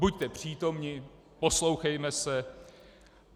Buďte přítomni, poslouchejme se.